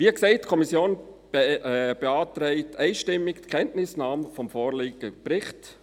Wie gesagt: Die Kommission beantragt einstimmig die Kenntnisnahme des vorliegenden Berichts.